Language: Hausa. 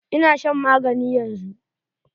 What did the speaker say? Ina shan magani yanzu.